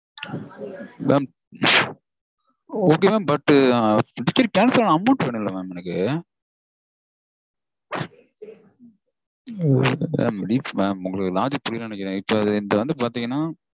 mam ok mam ticket cancel ஆன amount வேணும் இல்ல mam எனக்கு? Mam தீப்ஸ் mam உங்களுக்கு logic புரியலனு நெனைக்கறேன். இப்போ என்து வந்து பாத்தீங்கனா